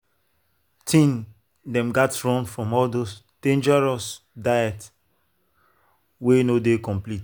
teen dem gats run from all those dangerous diet wey no dey complete.